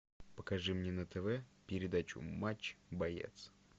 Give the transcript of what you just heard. покажи мне на тв передачу матч боец